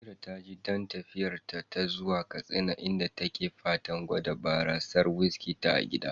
Amira taji dain tafiyarta ta zuwa Katsina, inda take fatan gwada barasar "whiskey" ta gida.